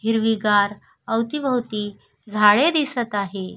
हिरवी गार अवती भोवती झाडे दिसत आहे.